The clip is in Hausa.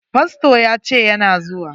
Fasto ya ce yana zuwa.